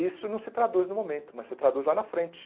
Isso não se traduz no momento, mas se traduz lá na frente.